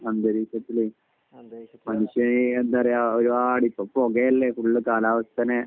അന്തരീക്ഷത്തിലെയും . മനുഷ്യനെ എന്താ പറയാ ഇപ്പൊ ഫുൾ പുകയല്ലേ കാലാവസ്ഥനെ